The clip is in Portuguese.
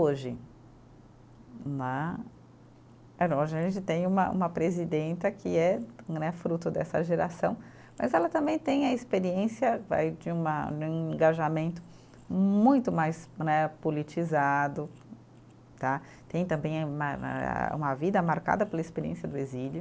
Hoje né, é não hoje a gente tem uma uma presidenta que é, não é fruto dessa geração, mas ela também tem a experiência vai de uma, de um engajamento muito mais né politizado tá, tem também uma eh, uma vida marcada pela experiência do exílio,